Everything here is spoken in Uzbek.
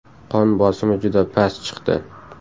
Qon bosimi juda past chiqdi.